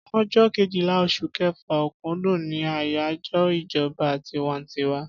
Ọjọ Kejìlá osùn kefa/okundun ni ayajọ ìjọba tinwantiwa